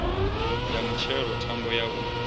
ya mutshelo thambo ya u